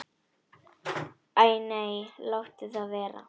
Æ nei, láttu það vera.